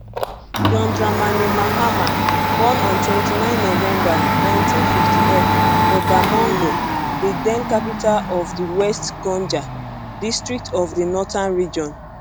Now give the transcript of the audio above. john dramani mahama born on 29 november 1958 for damongo di den capital of di west gonja district of di northern region